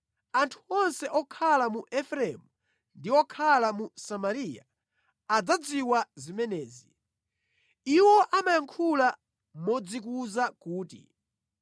Anthu onse okhala mu Efereimu ndi okhala mu Samariya, adzadziwa zimenezi. Iwo amayankhula modzikuza kuti,